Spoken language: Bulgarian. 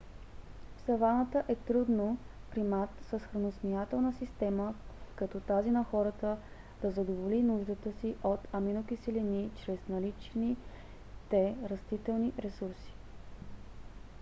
в саваната е трудно примат с храносмилателна система като тази на хората да задоволи нуждата си от аминокиселини чрез наличните растителни ресурси